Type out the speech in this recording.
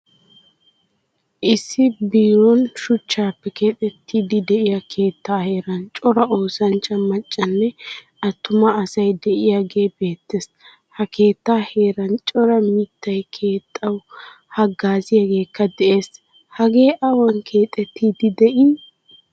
Issi biron shuuchchappe keexettidi deiyaa keettaa heeran cora oosanchcha maccanne attuma asay deiyage beetees. Ha keettaa heeran cora miittay keexawu hagazziyagekka de'ees Hagee awan keexettidi de'i?